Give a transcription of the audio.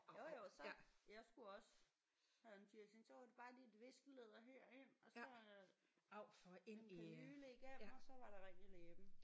Jo jo så jeg skulle også have en piercing. Så var det bare lige et viskelæder herind og så øh en kanyle igennem og så var der ring i læben